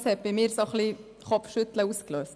Das hat bei mir ein wenig Kopfschütteln ausgelöst.